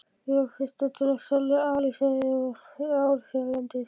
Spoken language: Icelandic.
Ég var fyrstur til að selja aliseiði í ár hérlendis.